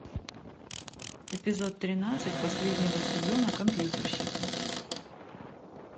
эпизод тринадцать последнего сезона компьютерщики